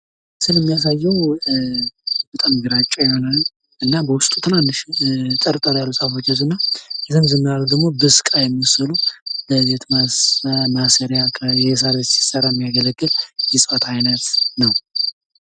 ይህ ምስል የሚያሳየው በጣም ግራጫ የሆነ እና በውስጡ ትንንሽ አጠር አጠር ያሉ ዛፎችን የይያዘ ነው። ረዘም ረዘም ያሉት ደግሞ በስቃ የመሰሉ የቤት መስሪያ የሳር ቤት ሲሰራ የሚያገለግሉ የእጽዋት አይነት ነው።